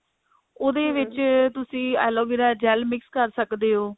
ਉਹਦੇ ਵਿੱਚ ਤੁਸੀਂ ਐਲੋਵੇਰਾ gel mix ਕਰ ਸਕਦੇ ਹੋ